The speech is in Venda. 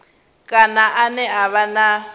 kana ane a vha na